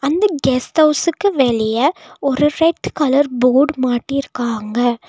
இந்த கெஸ்ட் ஹவுஸ்க்கு வெளிய ஒரு ரெட் கலர் போர்ட் மாட்டிருக்காங்க.